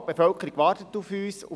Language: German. Die Bevölkerung wartet auf uns.